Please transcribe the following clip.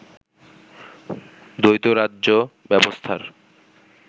দ্বৈত রাজ্য ব্যবস্থার